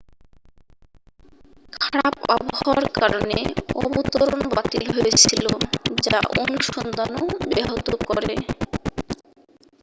খারাপ আবহাওয়ার কারণে অবতরণ বাতিল হয়েছিল যা অনুসন্ধানও ব্যাহত করে